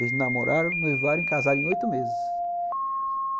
Eles namoraram, noivaram e casaram em oito meses.